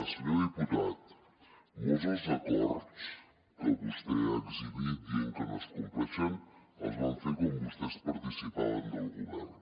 senyor diputat molts dels acords que vostè ha exhibit dient que no es compleixen els vam fer quan vostès participaven del govern